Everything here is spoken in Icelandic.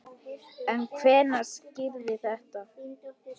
En hvenær skýrist þetta?